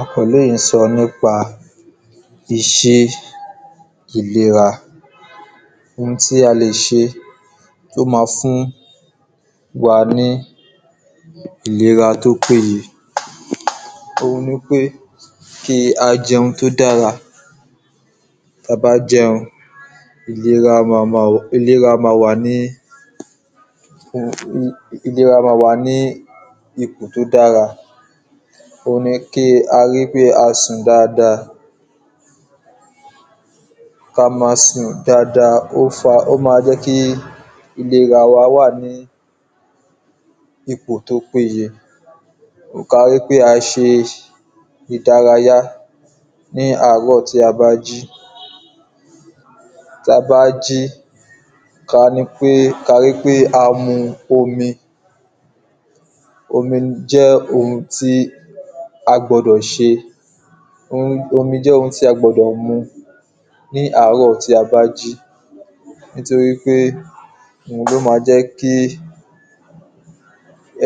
Àkọ́lé yí sọ nípa ìṣẹ, ìlera, oun tí a lè ṣe tó ma fún wa ní ìlera tó péye, òun ni pé kí a jẹun tí ó dára, tí a bá jẹun, ìlera, ìlera ma wà ní, ìlera ma wà ní ipò tó dára, òun ni kí a ri pé a sùn dada, ka ma sùn dada, ó ma jẹ́ kí ìlera wa wáà ní ipò tó péye, ka ri pé a se ìdárayá làárò tí a bá jí, tí a bá jí, ka ri pé, ka ri pé a mu omi, omí jẹ́ oun tí a gbọdọ̀ ṣe, omí jẹ́ oun tí a gbọdọ̀ mu ní àárò tí a bá jí, nítorí pé òun ló ma jẹ́ kí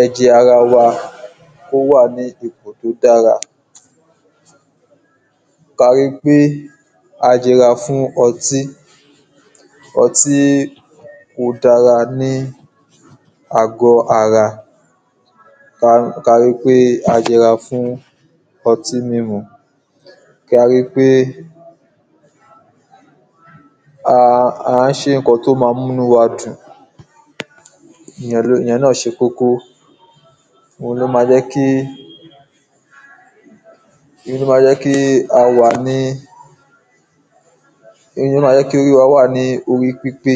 ẹ̀jẹ̀ ara wa, kó wà ní ipò tó dára, ka ri pé a yẹ’ra fún ọtí, ọtí kò da lára ní àgó ara, ká ri pé a yẹ’ra fún ọtí mímu, ka ri pé à ń se ǹkan tó ma mú inú wa dùn, ìyẹn ná se kókó, òun ló ma jẹ́ kí, òun ló ma jẹ́ kí a wà ní, òun ló ma jẹ́ kí orí wá wà ní orí pípé